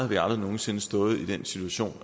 vi aldrig nogen sinde stået i den situation